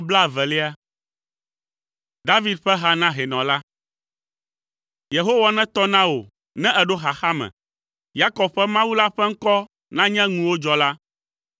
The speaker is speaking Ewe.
David ƒe ha na hɛnɔ la. Yehowa netɔ na wò ne èɖo xaxa me; Yakob ƒe Mawu la ƒe ŋkɔ nanye ŋuwòdzɔla.